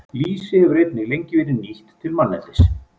Lýsi hefur einnig lengi verið nýtt til manneldis.